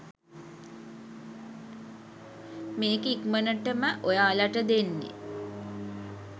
මේක ඉක්මනටම ඔයාලට දෙන්නෙ.